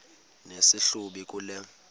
nesi hlubi kule